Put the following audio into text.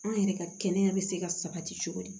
An yɛrɛ ka kɛnɛya bɛ se ka sabati cogo di